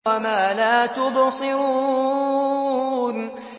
وَمَا لَا تُبْصِرُونَ